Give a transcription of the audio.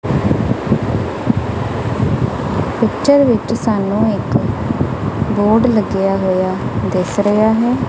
Picture ਵਿੱਚ ਸਾਨੂੰ ਇੱਕ ਬੋਰਡ ਲੱਗਿਆ ਹੋਇਆ ਦਿੱਸ ਰਿਹਾ ਹੈ।